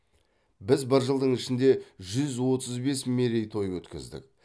біз бір жылдың ішінде жүз отыз бес мерей той өткіздік